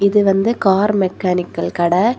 இது வந்து car mechanical கட.